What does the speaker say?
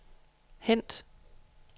hent